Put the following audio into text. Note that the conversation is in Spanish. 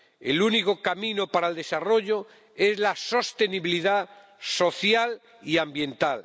El único camino para el desarrollo es la sostenibilidad social y ambiental.